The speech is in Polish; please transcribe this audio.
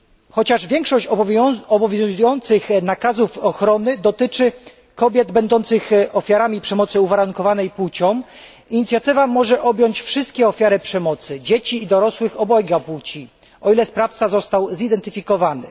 Chociaż większość obowiązujących nakazów ochrony dotyczy kobiet będących ofiarami przemocy uwarunkowanej płcią, inicjatywa może objąć wszystkie ofiary przemocy dzieci i dorosłych obojga płci, o ile sprawca został zidentyfikowany.